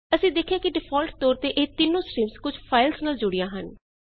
ਅਸੀਂ ਦੇਖਿਆ ਕਿ ਡਿਫਾਲਟ ਤੌਰ ਤੇ ਇਹ ਤਿੱਨੋ ਸਟ੍ਰੀਮਜ਼ ਕੁਝ ਫਾਈਲਜ਼ ਨਾਲ ਜੁੜੀਆਂ ਹਨ